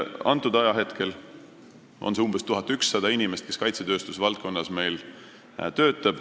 Praegu töötab kaitsetööstuse valdkonnas umbes 1100 inimest.